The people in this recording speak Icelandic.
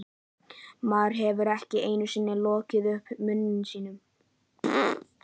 Maðurinn hefur ekki einu sinni lokið upp munni sínum.